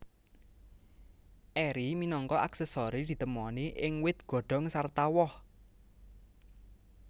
Eri minangka aksesori ditemoni ing wit godhong sarta woh